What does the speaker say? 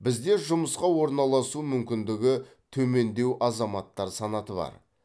бізде жұмысқа орналасу мүмкіндігі төмендеу азаматтар санаты бар